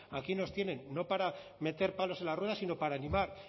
aquí nos tienen no para meter palos en las ruedas sino para animar